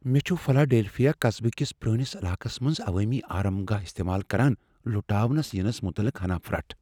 مے٘ چُھ فلاڈیلفیا قصبہٕ کس پرٲنس علاقس منٛز عوٲمی آرام گاہ استعمال کران لُٹاونہٕ ینس متعلق ہنا پھرٹھ ۔